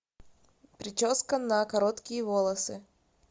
прическа на короткие волосы